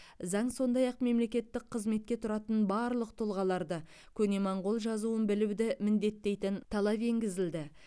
заң сондай ақ мемлекеттік қызметке тұратын барлық тұлғаларды көне моңғол жазуын білуді міндеттейтін талап енгізді